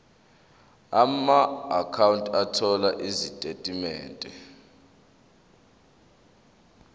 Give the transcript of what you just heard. amaakhawunti othola izitatimende